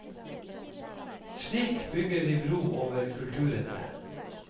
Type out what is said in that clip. Slik bygger vi bro over kulturene.